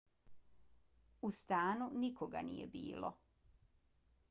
u stanu nikoga nije bilo